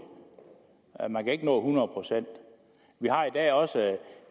man kan ikke nå hundrede procent vi har i dag også